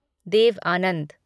Dev Anand